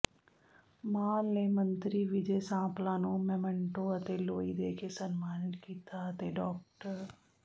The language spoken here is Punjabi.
ਮਾਹਲ ਨੇ ਮੰਤਰੀ ਵਿਜੇ ਸਾਂਪਲਾ ਨੂੰ ਮੋਮੈਂਟੋ ਅਤੇ ਲੋਈ ਦੇ ਕੇ ਸਨਮਾਨਿਤ ਕੀਤਾ ਅਤੇ ਡਾ